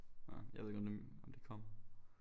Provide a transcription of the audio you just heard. Nåh jeg ved ikke om det om det kommer